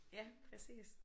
Ja præcis